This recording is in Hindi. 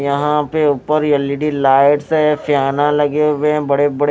यहां पे ऊपर एल_इ_डी लाइट्स है फेयाना लगे हुए हैं बड़े बड़े--